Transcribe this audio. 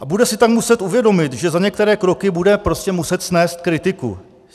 A bude si tam muset uvědomit, že za některé kroky bude prostě muset snést kritiku.